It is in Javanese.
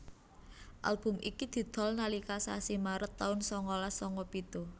Album iki didol nalika sasi Maret taun sangalas sanga pitu